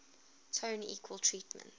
tone equal temperament